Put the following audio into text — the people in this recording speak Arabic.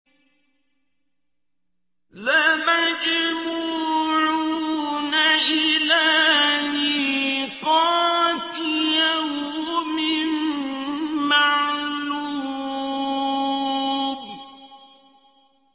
لَمَجْمُوعُونَ إِلَىٰ مِيقَاتِ يَوْمٍ مَّعْلُومٍ